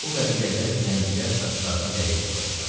Bu qəbilədə zəncilər saçlarına lələk taxırdılar.